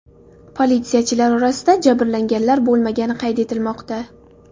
Politsiyachilar orasida jabrlanganlar bo‘lmagani qayd etilmoqda.